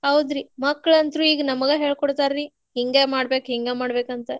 ಹೌದ್ರಿ ಮಕ್ಳ ಅಂತೂ ಈಗ ನಮಗ್ ಹೇಳ್ಕೊಡ್ತಾರ್ರೀ ಹಿಂಗೇ ಮಾಡ್ಬೇಕ್ ಹಿಂಗ್ ಮಾಡ್ಬೇಕ ಅಂತ.